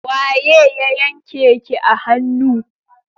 Waye ya yanke ki a hannu?